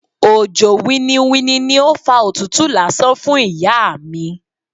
Òjò winniwinni ni ó fa òtútù lásán fún ìyá mi.